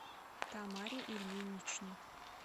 тамаре ильиничне